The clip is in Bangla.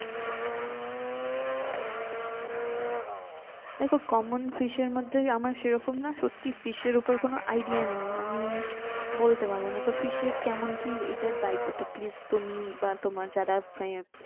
দেখো common fish এর মধ্যে আমার সিরোকোমনা সত্যি fish এর উপর কোনো idea নেই মানে বলতে পারবোনা তো fish এর কেমন কি এটার দায়িত্ব টা কি please তুমি বা তোমার যারা friend